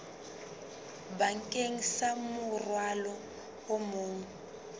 bakeng sa morwalo o mong